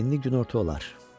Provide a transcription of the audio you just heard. İndi günorta olar.